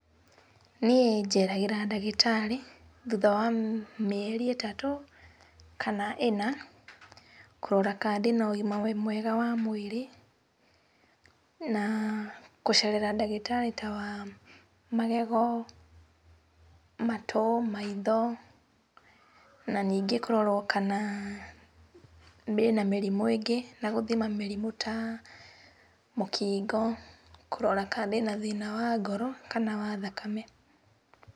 Niĩ njeragĩra ndagĩtarĩ thutha wa mĩeri ĩtatũ, kana ĩna kũrora kana ndĩna ũgima mwega wa mwĩrĩ, na kũcerera ndagĩtarĩ ta wa magego, maitho, matũ, maitho, na ningĩ kũrorwo kana ndĩna mĩrimũ ĩngĩ, na gũthima mũrimũ ta mũkingo, kũrora kana ndĩna thĩna wa ngoro kana wa thakame.